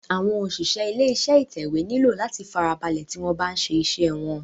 Àwọn òṣìṣẹ́ ilé iṣé ìtẹ̀wé nílò láti farabalẹ̀ tí wọ́n bá ń ṣe iṣé wọ́n.